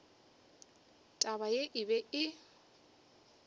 taba ye e be e